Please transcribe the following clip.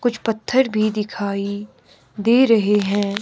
कुछ पत्थर भी दिखाई दे रहे हैं।